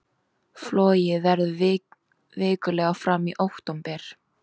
Flogið verður vikulega fram í október